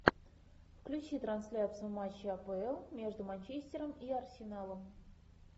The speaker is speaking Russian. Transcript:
включи трансляцию матча апл между манчестером и арсеналом